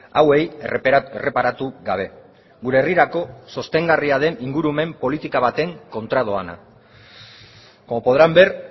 hauei erreparatu gabe gure herrirako sostengarria den ingurumen politika baten kontra doana como podrán ver